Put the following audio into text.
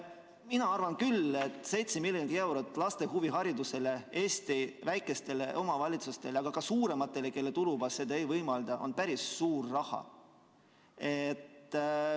Mina arvan küll, et 7 miljonit eurot laste huviharidusele, Eesti väikestele, aga ka suurematele omavalitsustele, kelle tulubaas seda ei võimalda, on see päris suur raha.